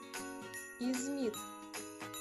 измит